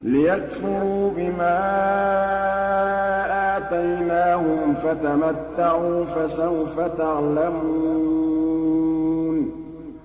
لِيَكْفُرُوا بِمَا آتَيْنَاهُمْ ۚ فَتَمَتَّعُوا فَسَوْفَ تَعْلَمُونَ